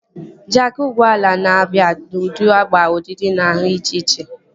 Jaakị ụgbọala na-abịa n'ụdị agba, ọdịdị na nhá dị iche iche